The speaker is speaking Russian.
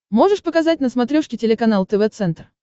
можешь показать на смотрешке телеканал тв центр